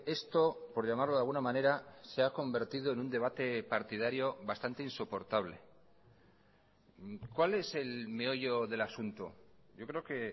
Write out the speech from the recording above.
esto por llamarlo de alguna manera se ha convertido en un debate partidario bastante insoportable cuál es el meollo del asunto yo creo que